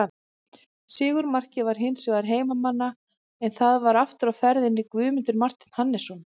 Sigurmarkið var hins vegar heimamanna en þar var aftur á ferðinni Guðmundur Marteinn Hannesson.